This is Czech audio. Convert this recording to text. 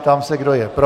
Ptám se, kdo je pro.